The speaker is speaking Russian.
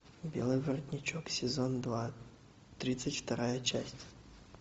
белый воротничок сезон два тридцать вторая часть